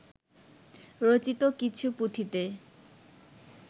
রচিত কিছু পুঁথিতে